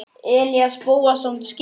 Elías Bóasson skytta.